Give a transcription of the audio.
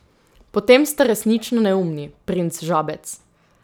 Potem ste resnično neumni, princ Žabec.